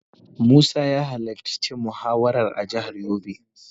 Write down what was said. Musa ya halarci muhawarar a jihar yobe.